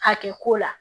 Hakɛ ko la